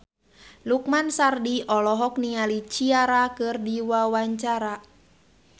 Lukman Sardi olohok ningali Ciara keur diwawancara